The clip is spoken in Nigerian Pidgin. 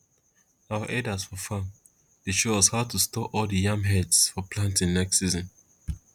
our elders for farm dey show us how to store all the yam heads for planting next season